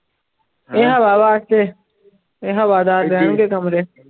ਇਹ ਹਵਾ ਵਾਸਤੇ ਵੀ ਹਵਾਦਾਰ ਰਹਿਣਗੇ ਕਮਰੇ।